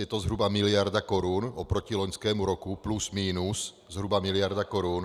Je to zhruba miliarda korun oproti loňskému roku plus minus, zhruba miliarda korun.